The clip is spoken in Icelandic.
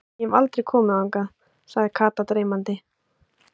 Ég hef aldrei komið þangað, sagði Kata dreymandi.